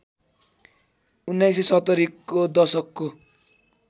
१९७० को दशकको